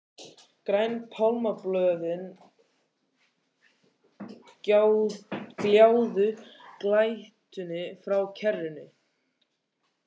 Græn pálmablöðin gljáðu í glætunni frá kerinu.